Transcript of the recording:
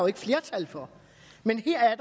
ikke flertal for men her er